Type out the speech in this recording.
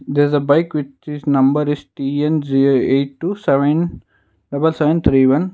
there is a bike which is number is z a eight two seven double seven three one.